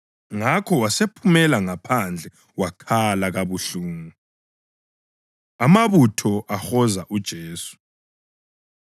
Ngakho wasephumela ngaphandle wakhala kabuhlungu. Amabutho Ahoza UJesu